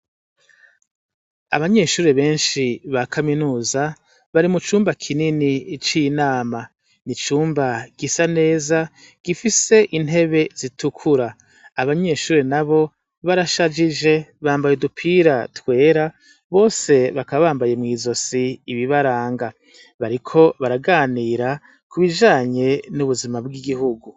Abanyeshure benshi ba kaminuza bari mucumba kinini c' inama, icumba gisa neza gifis' intebe zitukura, abanyeshure nabo barashajije bambay' udupira twera bose bakaba bambaye mw' izos' ibibaranga bariko baraganira kubijanye n' igihugu.